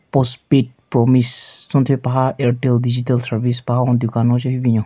Postpaid promise tson thye paha airtel digital service paha hon dukan ho che hyu binyon.